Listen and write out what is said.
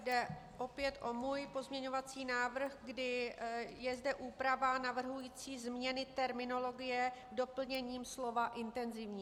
Jde opět o můj pozměňovací návrh, kdy je zde úprava navrhující změny terminologie doplněním slova "intenzivní".